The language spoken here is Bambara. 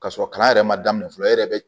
Ka sɔrɔ kalan yɛrɛ ma daminɛ fɔlɔ e yɛrɛ bɛ